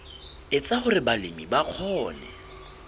etsa hore balemi ba kgone